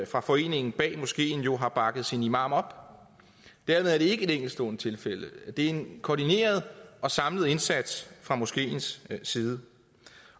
for foreningen bag moskeen har bakket sin imam op dermed er det ikke et enkeltstående tilfælde det er en koordineret og samlet indsats fra moskeens side